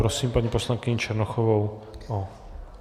Prosím paní poslankyni Černochovou.